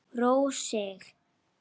Róa sig.